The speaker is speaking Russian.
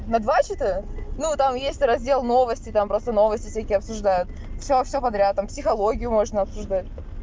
на два чата ну там есть раздел новости там просто новости всякие обсуждают всё всё подряд там психологию можно обсуждать